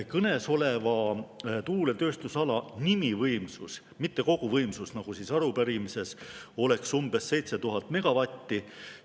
Kõnesoleva tuuletööstusala nimivõimsus – mitte koguvõimsus, nagu on arupärimises – oleks umbes 7000 megavatti.